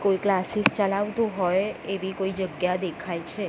કોઈ ક્લાસીસ ચલાવતું હોય એવી કોઈ જગ્યા દેખાય છે.